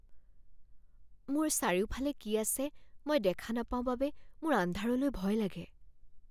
মোৰ চাৰিওফালে কি আছে মই দেখা নাপাওঁ বাবে মোৰ আন্ধাৰলৈ ভয় লাগে।